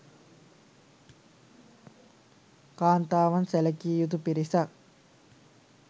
කාන්තාවන් සැලකිය යුතු පිරිසක්